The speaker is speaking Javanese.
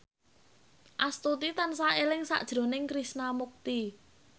Astuti tansah eling sakjroning Krishna Mukti